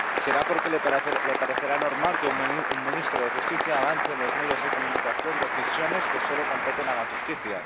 Será porque le parecerá normal que un ministro de Justicia avance en los medios de comunicación decisiones que solo competen a la justicia